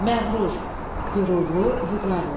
Məğrur – qürurlu, vüqarlı.